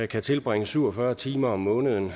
kan tilbringe syv og fyrre timer om måneden